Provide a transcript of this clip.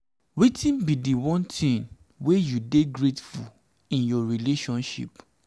wetin be di one thing wey you you dey grateful in your relationship?